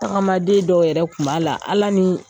Tagamaden dɔw yɛrɛ tun b'a la ala ni